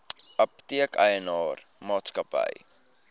apteek eienaar maatskappy